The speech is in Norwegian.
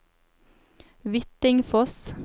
Hvittingfoss